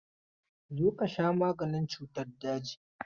Zo ka sha maganin cutan daji!